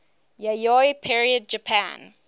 yayoi period japan